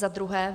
Za druhé.